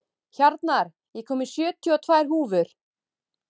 Hjarnar, ég kom með sjötíu og tvær húfur!